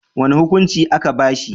Wani hukuncin a'ka ba shi.